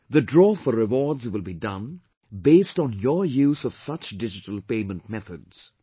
The draw for rewards will be done based on your use of such digital payment methods